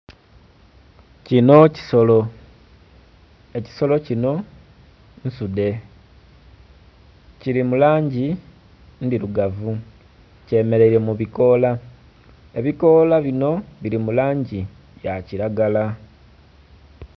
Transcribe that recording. Kino kisolo ekisolo kinho nsudhe kili mu langi ndhirugavu kye mereire mu bikoola, ebikoola binho bili mu langi ya kilagala